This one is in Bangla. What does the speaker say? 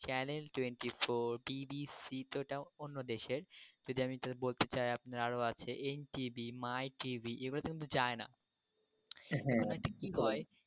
চ্যানেল টোয়েন্টি ফোর, বিবিসি এটা তো অন্য দেশের, যদি আমি বলতে চাই আপনার আরো আছে এমটিভি, মাইটিভি এরা কিন্তু যায়না। তো কি হয়।